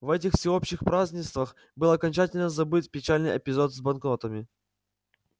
в этих всеобщих празднествах был окончательно забыт печальный эпизод с банкнотами